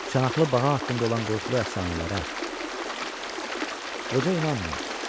Çanaqlı bağa haqqında olan qorxulu əfsanələrə qoca inanmırdı.